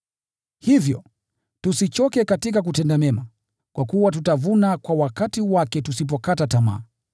Hivyo, tusichoke katika kutenda mema, kwa kuwa tutavuna kwa wakati wake tusipokata tamaa.